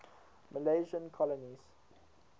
milesian colonies